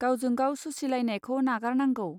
गावजोंगाव सुसिलायनायखौ नागारनांगौ.